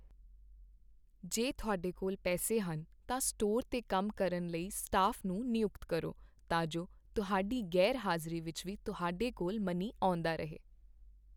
ਜੇ ਤੁਹਾਡੇ ਕੋਲ ਪੈਸੇ ਹਨ, ਤਾਂ ਸਟੋਰ 'ਤੇ ਕੰਮ ਕਰਨ ਲਈ ਸਟਾਫ਼ ਨੂੰ ਨਿਯੁਕਤ ਕਰੋ ਤਾਂ ਜੋ ਤੁਹਾਡੀ ਗ਼ੈਰ ਹਾਜ਼ਰੀ ਵਿੱਚ ਵੀ ਤੁਹਾਡੇ ਕੋਲ ਮਨੀ ਆਉਂਦਾ ਰਹੇ।